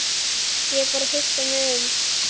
Ég er bara að hugsa mig um.